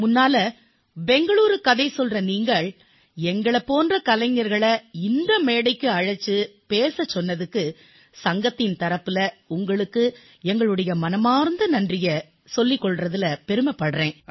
முதன்மையாக பெங்களூரூ கதை சொல்லும் நீங்கள் எங்களைப் போன்ற கலைஞர்களை இந்த மேடைக்கு அழைத்துப் பேச வைத்தமைக்கு சங்கத்தின் தரப்பில் உங்களுக்கு எங்களுடைய மனமார்ந்த நன்றிகளைத் தெரிவித்துக் கொள்கிறேன்